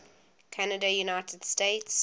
canada united states